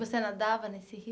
Você nadava nesse rio?